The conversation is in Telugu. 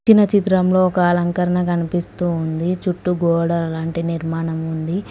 ఇచ్చిన చిత్రంలో ఒక అలంకరణ కనిపిస్తూ ఉంది చుట్టు గోడ లాంటి నిర్మాణం ఉంది.